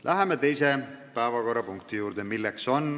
Läheme teise päevakorrapunkti juurde.